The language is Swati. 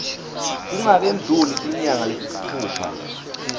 kungakendluli tinyanga letisitfupha